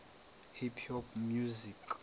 hip hop music